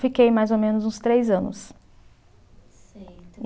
Fiquei mais ou menos uns três anos.